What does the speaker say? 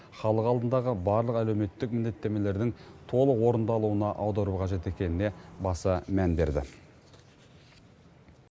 халық алдындағы барлық әлеуметтік міндеттеменің толық орындалуына аудару қажет екеніне баса мән берді